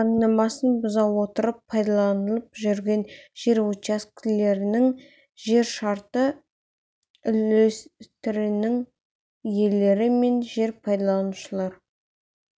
заңнамасын бұза отырып пайдаланылып жүрген жер учаскелерінің және шартты жер үлестерінің иелері мен жер пайдаланушылар